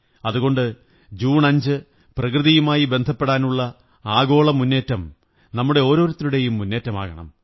അതുകൊണ്ട് ജൂൺ 5 പ്രകൃതിയുമായി ബന്ധപ്പെടാനുള്ള ആഗോള മുന്നേറ്റം നമ്മുടെ ഓരോരുത്തരുടെയും മുന്നേറ്റമാകണം